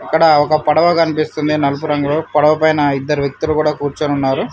ఇక్కడ ఒక పడవ కనిపిస్తుంది నలుపు రంగులో పడవ పైన ఇద్దరు వ్యక్తులు కూడా కూర్చొని ఉన్నారు.